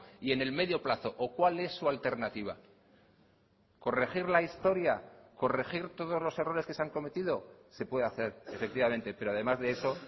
y en el medio plazo o cuál es su alternativa corregir la historia corregir todos los errores que se han cometido se puede hacer efectivamente pero además de eso